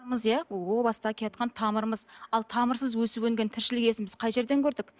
иә о бастан тамырымыз ал тамырсыз өсіп өнген тіршілік иесін біз қай жерден көрдік